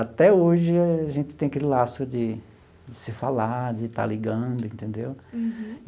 Até hoje a gente tem aquele laço de de se falar, de estar ligando, entendeu? Uhum.